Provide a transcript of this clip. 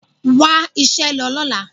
Wá iṣẹ́ lọ lọ́la.